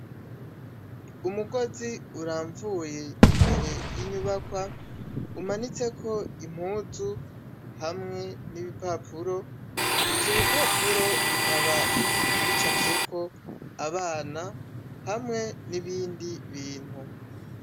Umugozi uramvuye imbere y'inyubakwa, umanitse ko impuzu hamwe n'ibipapuro, ivyo bipapuro bikaba bica vyeko abana hamwe n'ibindi bintu.